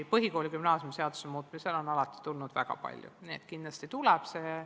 Põhikooli- ja gümnaasiumiseaduse muutmiseks on alati tulnud väga palju ettepanekuid, kindlasti tuleb ka nüüd.